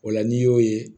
O la n'i y'o ye